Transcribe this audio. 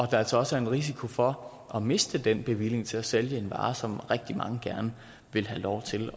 der altså også er en risiko for at miste den bevilling til at sælge en vare som rigtig mange gerne vil have lov til